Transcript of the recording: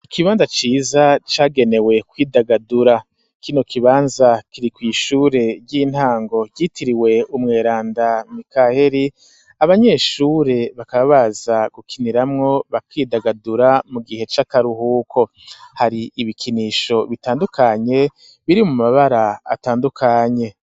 Ikibanza ciza cagenewe kwidagadura, kino kibanza kiri kw'ishure ry'intango ryitiriwe umweranda mikaheri; abanyeshure bakaba baza gukiniramwo, bakidagadura mu gihe c'akaruhuko, hari ibikinisho bitandukanye, biri mu mabara atandukanye.